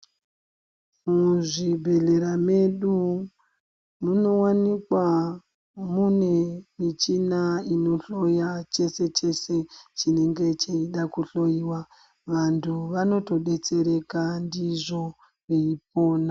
Muzvibhedhlera medu munowanikwa mune michina inohloya chese chese chinenge cheida kuhloyiwa. Vantu vanotodetsereka ndizvo veipona.